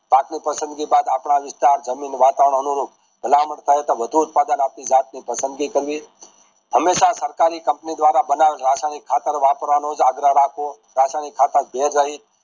પાકની પસંદગી બાદ આપડા જમીન વાતાવરણ અનુરૂપ મળતા હોય તોહ વધુ ઉથપધાન આપણી જાત ની પસંદગી કરવી હંમેશા સરકારી company દ્વારા બનેવેલ રાખવામાં ખાતર વાપરવાનુંજ આગ્રહ રાખો રાસાયણિક કાથેર